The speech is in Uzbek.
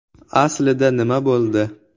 Aslida nima bo‘ldi?